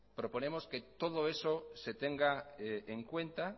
proponemos que todo eso se tenga en cuenta